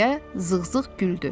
deyə Zığzığ güldü.